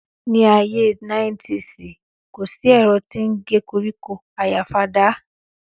Níàyé niétìsí; kọ sí ẹ̀rọ́ tii ń gẹ kọríkọ àyá fàdá